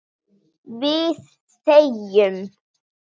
Við þegjum.